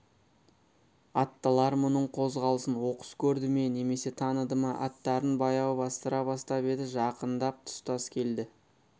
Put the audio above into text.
аттылар мұның қозғалысын оқыс көрді ме немесе таныды ма аттарын баяу бастыра бастап еді жақындап тұстас келді